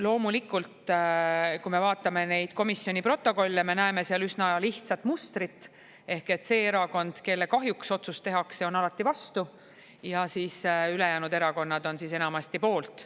Loomulikult, kui me vaatame neid komisjoni protokolle, siis me näeme seal üsna lihtsat mustrit, ehk et see erakond, kelle kahjuks otsus tehakse, on alati vastu ja ülejäänud erakonnad on enamasti poolt.